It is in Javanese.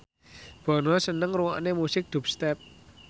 Bono seneng ngrungokne musik dubstep